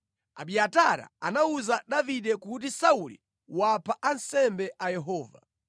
Abiatara anawuza Davide kuti Sauli wapha ansembe a Yehova.